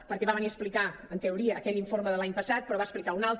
perquè va venir a explicar en teoria aquell informe de l’any passat però en va explicar un altre